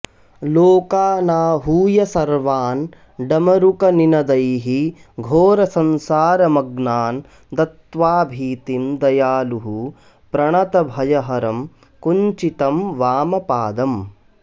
लोकानाहूय सर्वान् डमरुकनिनदैः घोरसंसारमग्नान् दत्वाभीतिं दयालुः प्रणतभयहरं कुञ्चितं वामपादम्